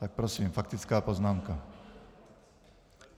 Tak prosím, faktická poznámka.